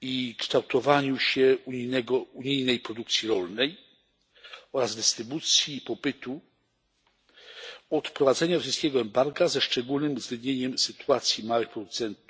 i kształtowaniu się unijnej produkcji rolnej oraz dystrybucji i popytu od wprowadzenia rosyjskiego embarga, ze szczególnym uwzględnieniem sytuacji małych producentów